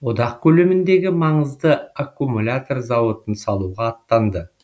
одақ көлеміндегі маңызды аккумлятор зауытын салуға аттанды